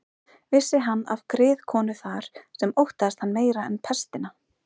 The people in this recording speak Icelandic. Vissi hann af griðkonu þar sem óttaðist hann meira en pestina.